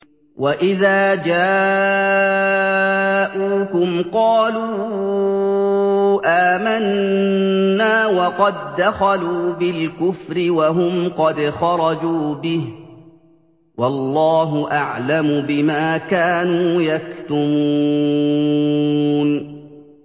وَإِذَا جَاءُوكُمْ قَالُوا آمَنَّا وَقَد دَّخَلُوا بِالْكُفْرِ وَهُمْ قَدْ خَرَجُوا بِهِ ۚ وَاللَّهُ أَعْلَمُ بِمَا كَانُوا يَكْتُمُونَ